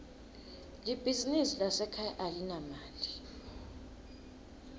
libizinsi lasekhaya alinamali